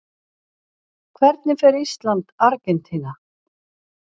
Hvernig fer Ísland- Argentína?